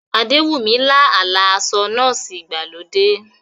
Adewunmi lá àlá aṣọ nọ́ọ̀sì ìgbàlódé.